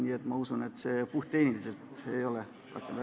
Nii et ma usun, et see ei ole puhttehniliselt võimalik.